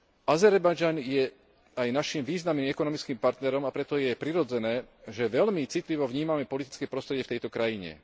Azerbajdžan je aj naším významným ekonomickým partnerom, a preto je prirodzené, že veľmi citlivo vnímame politické prostredie v tejto krajine.